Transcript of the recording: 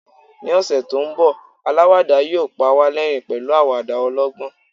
ni ọsẹ ti nbọ alawada yíò pa wa l'ẹrin pẹlu awada ọlọgbọn